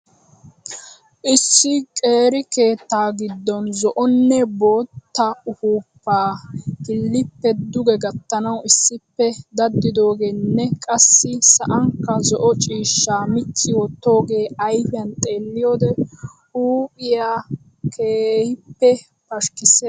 Issi qeeri keettaa gidon zo'onne bootta uppuupaa kiliippe duge gatanawu issippe daddidoogeenne qassi sa'anikka zo"o ciishshaa micci wottoogee ayfiyan xeelliyode huuphphiya keehippe pashikisees.